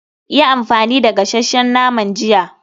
Yi amfani da gasasshen naman jiya.